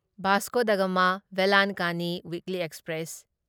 Vasco da Gama Velankanni weekly express